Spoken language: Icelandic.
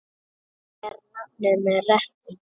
Hún ber nafn með rentu.